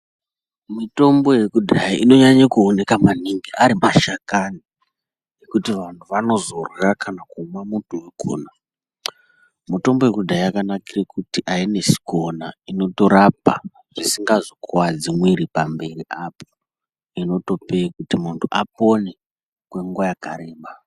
Mitombo yakudhaya inonyanya kuoneka maningi ari mashakani ekuti vantu vanozorya kana kumwa muto vakona. Mitombo yakudhaya yakanakira kuti hainesi kuona inotorapa zvisingazokuvadzi mwiri pamberi apo. Inotope kuti muntu apone kwenguva yakareba.